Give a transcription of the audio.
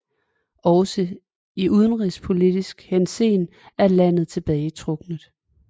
Også i udenrigspolitisk henseende er landet tilbagetrukkent